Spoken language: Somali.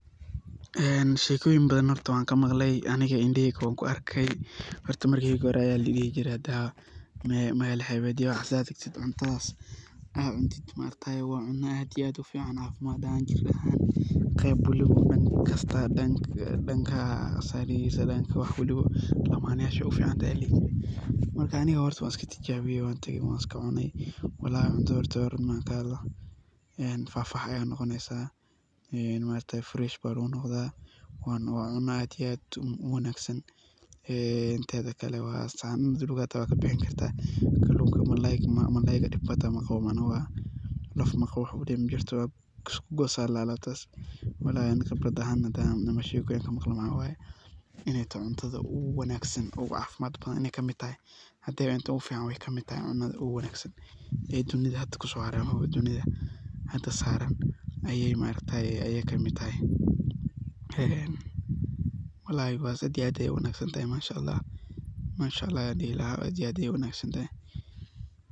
Een horta shekoyin wan kamaqley ,aniga indhaheyga wan kuarkay. Horta mel hebed hadad tagtid cuntadas aad iyo aad ayaa loga cuna aad wey u fican tahay qeyb waliba dadka lamayasha ayey u fican tahay .Aniga wan tijabiye wan iska cunay walahi horta fafahiya ayaad noqonesa marka maaragtaye fresh baa lagu noqdaye marka waa cuno aad iyo aad u wangsan ,een teda kale kallunka hita waad kabixini karta oo kallunka hita laaf maqawo oo isku qosoo aya ladaha alabtas ,walahi aniga hadan cuno waxan kaaminsanahay mxa waye inaan cune cuntada ugu wanagsan ay kamid tahay ee dunidha hada kuso haraay oo hada saraan ayey maaragtaye kamid tahay een walahi bahashas aad iyo aad ayey u wanagsan tahay ,mashaa ALLAH aad iyo aad ayey u wanag santahay.